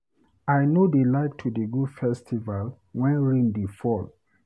I no dey like to dey go festival wen rain dey fall.